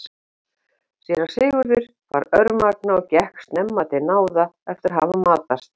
Síra Sigurður var örmagna og gekk snemma til náða eftir að hafa matast.